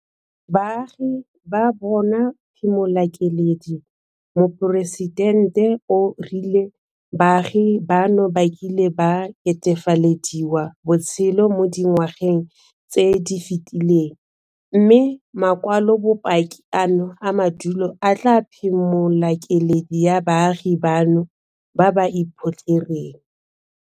Baagi ba bona phimolakeledi Moporesitente o rile baagi bano ba kile ba ketefalediwa botshelo mo dinwageng tse di fetileng mme makwalobopaki ano a madulo a tla phimolakeledi ya baagi bano ba ba iphotlhereng.